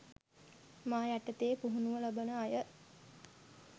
මා යටතේ පුහුණුව ලබන අය